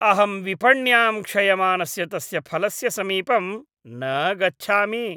अहं विपण्यां क्षयमानस्य तस्य फलस्य समीपं न गच्छामि।